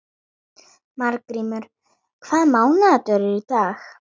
Margrímur, hvaða mánaðardagur er í dag?